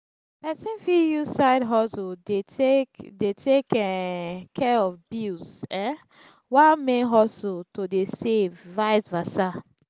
persin fit use side hustle de take de take um care of bills um while main hustle to de save vice versa